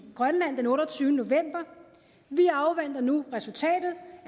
grønland den otteogtyvende november vi afventer nu resultatet